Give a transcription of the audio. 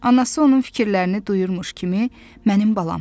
Anası onun fikirlərini duyurmuş kimi mənim balam.